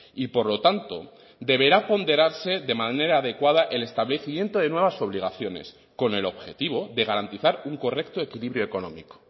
y por lo tanto deberá ponderarse de manera adecuada el establecimiento de nuevas obligaciones con el objetivo de garantizar un correcto equilibrio económico